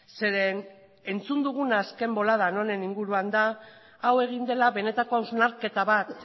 zeren entzun duguna azken boladan honen inguruan da hau egin dela benetako hausnarketa bat